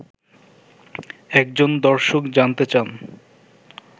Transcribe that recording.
একজন দর্শক জানতে চান